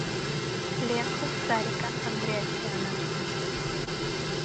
лента сарика андреасяна